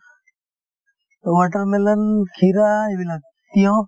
watermelon , kheera এইবিলাক তিয়ঁহ